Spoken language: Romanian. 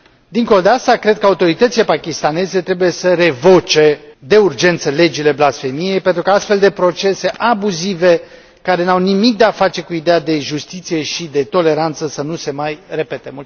Dincolo de asta, cred că autoritățile pakistaneze trebuie să revoce de urgență legile blasfemiei, pentru că astfel de procese abuzive, care n au nimic de a face cu ideea de justiție și de toleranță, să nu se mai repede.